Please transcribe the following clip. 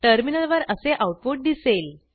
टर्मिनलवर असे आऊटपुट दिसेल